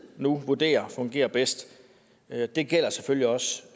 nu vurderer fungerer bedst det gælder selvfølgelig også